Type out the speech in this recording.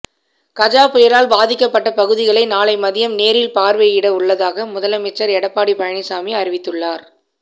கஜா புயலால் பாதிக்கப்பட்ட பகுதிகளை நாளை மதியம் நேரில் பார்வையிட உள்ளதாக முதலமைச்சர் எடப்பாடி பழனிசாமி அறிவித்துள்ளார்